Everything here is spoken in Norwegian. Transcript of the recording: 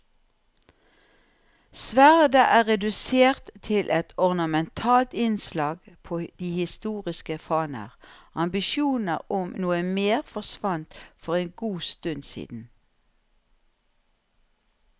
Sverdet er redusert til et ornamentalt innslag på de historiske faner, ambisjoner om noe mer forsvant for en god stund siden.